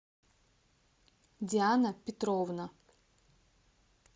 диана петровна